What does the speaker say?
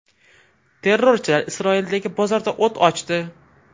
Terrorchilar Isroildagi bozorda o‘t ochdi.